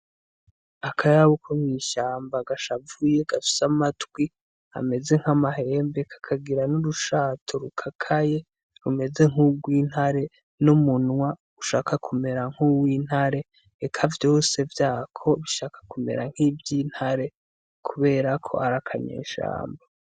Akayabu ko mw'ishamba gashavuye gafise amatwi ameze nkamahembe kagira n'urushato rukakaye rumeze nk'urwintare n'umunwa umeze nk'uwintare eka vyose vyako bishaka kumera nk'ivyintare kubera ko ari akanyeshamba.